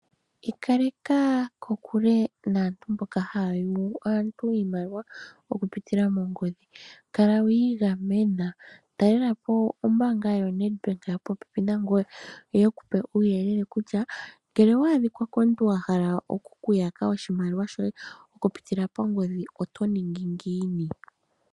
Ikaleka kokule naantu mboka haya yugu aantu iimaliwa okupitila moongodhi. Kala wiigamena, talelapo ombaanga yoNedBank yopopepi nangoye yo yekupe uuyelele kutya ngele owa adhika komuntu a hala oku kuyaka oshimaliwa shoye okupitila pangodhi otoningi ngiini.